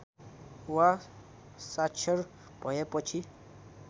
वा साक्षर भएपछि